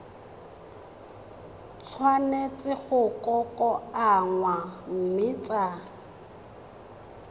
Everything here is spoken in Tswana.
tshwanetse go kokoanngwa mme tsa